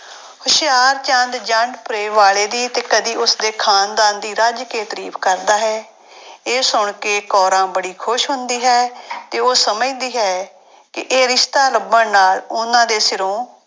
ਹੁਸ਼ਿਆਰਚੰਦ ਜੰਡਪੁਰੇ ਵਾਲੇ ਦੀ ਤੇ ਕਦੇ ਉਸਦੇ ਖਾਨਦਾਨ ਦੀ ਰਜ ਕੇ ਤਾਰੀਫ਼ ਕਰਦਾ ਹੈ ਇਹ ਸੁਣ ਕੇ ਕੋਰਾਂ ਬੜੀ ਖ਼ੁਸ਼ ਹੁੰਦੀ ਹੈ ਤੇ ਉਹ ਸਮਝਦੀ ਹੈ ਕਿ ਇਹ ਰਿਸਤਾ ਲੱਭਣ ਨਾਲ ਉਹਨਾਂ ਦੇ ਸਿਰੋਂ